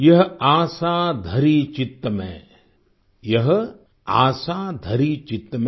यह आसा धरि चित्त में यह आसा धरि चित्त में